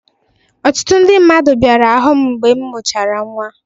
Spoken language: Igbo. Ọtụtụ ndị bịara hụụ m mgbe m mụchara nnwa.